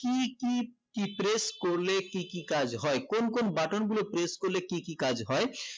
কি কি কি press করলে কি কি কাজ হয় কোন কোন button গুলো press করলে কি কি কাজ হয়